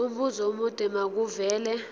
umbuzo omude makuvele